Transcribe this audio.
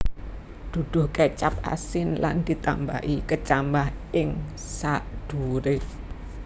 Duduh kecap asin lan ditambahi kecambah ing sadhuwure